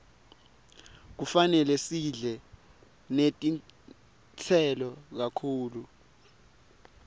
kufanele sidle netitselo kakhulu